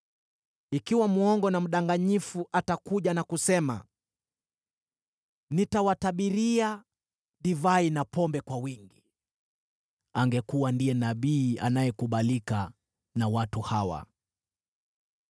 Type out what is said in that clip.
Ikiwa mwongo na mdanganyifu atakuja na kusema, ‘Nitawatabiria divai na pombe kwa wingi,’ angekuwa ndiye nabii anayekubalika na watu hawa!